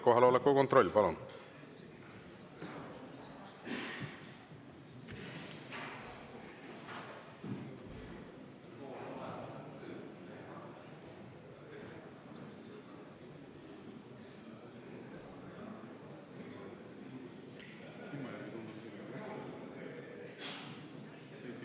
Kohaloleku kontroll, palun!